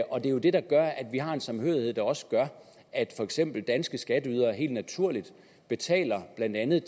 og det er det der gør at vi har en samhørighed der også gør at for eksempel danske skatteydere helt naturligt betaler blandt andet